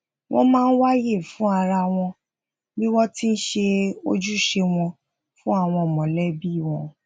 wón máa ń wá àyè fún ara wọn bi won ti n se ojuse won fún àwọn molebi won